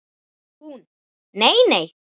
Hún: Nei nei.